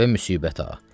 Və müsibəta.